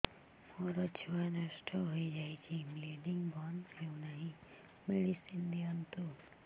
ମୋର ଛୁଆ ନଷ୍ଟ ହୋଇଯାଇଛି ବ୍ଲିଡ଼ିଙ୍ଗ ବନ୍ଦ ହଉନାହିଁ ମେଡିସିନ ଦିଅନ୍ତୁ